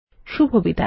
শুভবিদায়